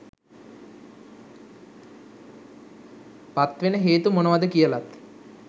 පත්වෙන හේතු මොනවාද කියලත්